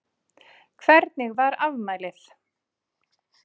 Hvernig var afmælið?